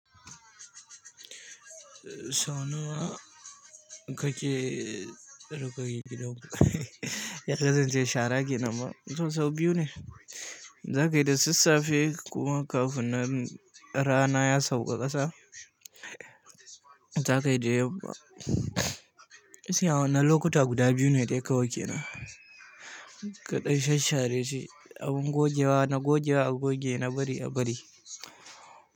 Gake, ruƙa gidan ya ƙazance shara ke nama sau biyu ne. Za kai da sassafe kuwa kafin rana ya sauka ƙasa. Za kai da yamma isiyawa na lokuta guda biyu ne dai kawai kenan. Kaɗai shasshare shi abin gogewa, na gogewa a goge na bari a bari.